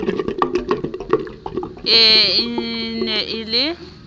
ee e ne e le